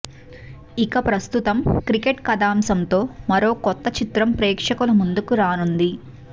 ఇక ప్రస్తుతం క్రికెట్ కథాంశంతో మరొక కొత్త చిత్రం ప్రేక్షకుల ముందుకు రానుంది